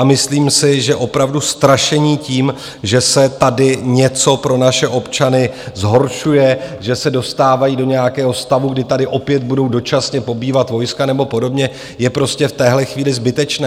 A myslím si, že opravdu strašení tím, že se tady něco pro naše občany zhoršuje, že se dostávají do nějakého stavu, kdy tady opět budou dočasně pobývat vojska nebo podobně, je prostě v téhle chvíli zbytečné.